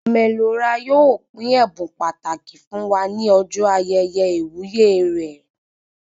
Ome Lo Ra yóò pín ẹbùn pàtàkì fún wá ní ọjọ ayẹyẹ iwuye rẹ